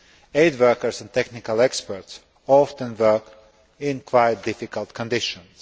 Aid workers and technical experts were often working in quite difficult conditions.